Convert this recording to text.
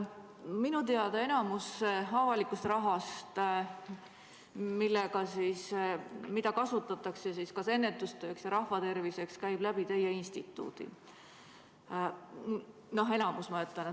Minu teada enamik avalikust rahast, mida kasutatakse ennetustööks ja rahvaterviseks, käib teie instituudi kaudu.